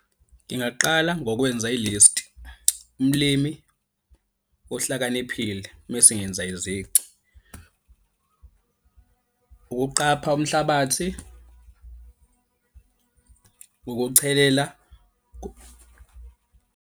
Ngingaqala ngokwenza i-list, umlimi ohlakaniphile, mese ngenza izici. Ukuqapha umhlabathi ukuchelela.